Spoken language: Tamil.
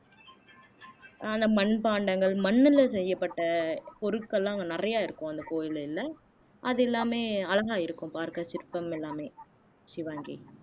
மண்பாண்டங்கள் மண்ணுல செய்யப்பட்ட பொருட்கள் எல்லாம் அங்க நிறைய இருக்கும் அந்த கோயிலுல அது எல்லாமே அழகா இருக்கும் பார்க்க சிற்பம் எல்லாமே ஷிவாங்கி